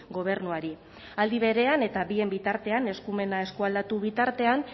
gobernuari aldi berean eta bien bitartean eskumena eskualdatu bitartean